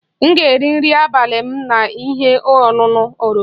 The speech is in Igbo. M ga-eri nri abalị m na ihe ọṅụṅụ oroma